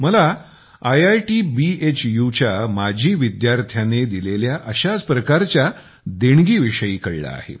मला आयआयटी BHUच्या माजी विद्यार्थ्याने केलेल्या अशाच प्रकारच्या दानाविषयी कळले आहे